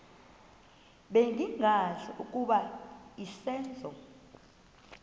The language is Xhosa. bengazi ukuba izenzo